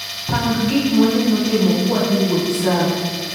Pangi gikmawanyalo timo kawdhii wuoth tsavo